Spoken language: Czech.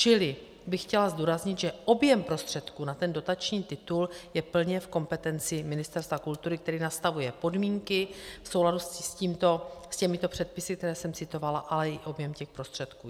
Čili bych chtěla zdůraznit, že objem prostředků na ten dotační titul je plně v kompetenci Ministerstva kultury, které nastavuje podmínky v souladu s těmito předpisy, které jsem citovala, ale i objem těch prostředků.